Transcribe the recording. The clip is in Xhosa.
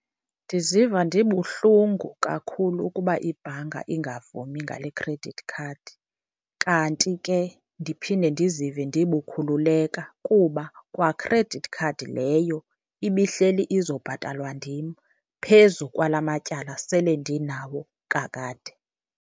Ndiziva ndibuhlungu kakhulu ukuba ibhanka ingavumi ngale credit card. Kanti ke ndiphinde ndizive ndibukhululeka kuba kwa credit card leyo ibihleli izobhatalwa ndim phezu kwala matyala sele ndinawo kakade.